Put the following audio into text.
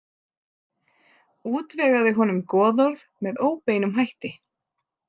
Útvegaði honum goðorð með óbeinum hætti.